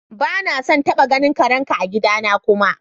Ba na son taba ganin karen ka a'gida na kuma!